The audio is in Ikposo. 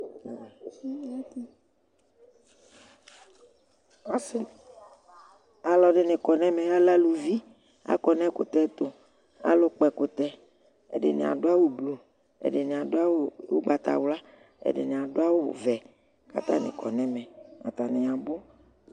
ɔsi alɔdini kɔ nu ɛm ku akɔnu ɛkɔtɛtʊ adini abɔ awu blɔ adini abɔ awu vɛ ku atani kɔnu